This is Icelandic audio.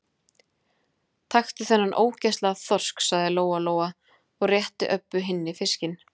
Taktu þennan ógeðslega þorsk, sagði Lóa-Lóa og rétti Öbbu hinni fiskinn.